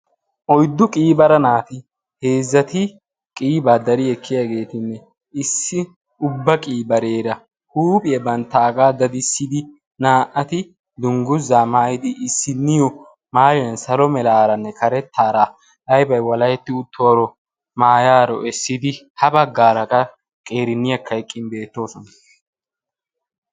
Oyddu qiibara naati heezzati qiiba dari ekkiyagetine issi ubba qiibarera huuphiya banttaga daddisidi naa'atti duungguzza maayidi issiniyo maaliyan essidi salo meraaranne karettaara aybay waaleheti uttoro maayaro essidi ha baggaara qa qeeriniyaka eqqin beetosona.